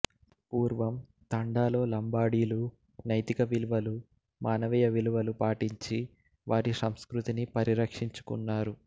పూర్వం తండాలో లంబాడీ లు నైతికవిలువలు మానవీయ విలువలు పాటించి వారి సంస్కృతి ని పరిరక్షించుకున్నారు